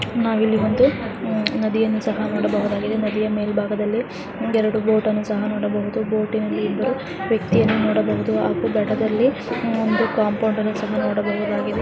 ನಾವು ಇಲ್ಲಿ ಒಂದು ನದಿಯನ್ನು ನೋಡಬಹುದು ಈ ನದಿಯ ಮೆಲ್ ಬಾಗದಲ್ಲಿ ಎರಡು ಬೋಟ್ ನೋಡಬಹುದು. ಆ ಬೋಟ್ ನಲ್ಲಿ ಇಬರು ನೋಡಬಹುದು ಒಂದು ಕಾಂಪೌಂಡ್ ಸಹ ನೋಡಬಹುದಾಡಿದೆ .